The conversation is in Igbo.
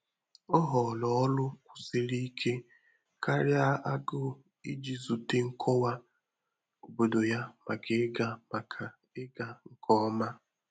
Ọ́ họọrọ ọrụ́ kwụ̀sìrì íké kàrị́à ágụ́ụ̀ ìjí zùté nkọwá obòdò yá màkà ị́gà màkà ị́gà nké ọmà.